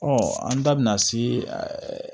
Ɔ an da bina se